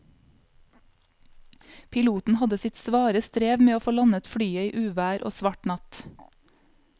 Piloten hadde sitt svare strev med å få landet flyet i uvær og svart natt.